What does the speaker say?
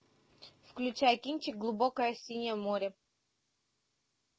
включай кинчик глубокое синее море